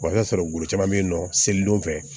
i b'a sɔrɔ bolo caman bɛ yen nɔ seli don fɛ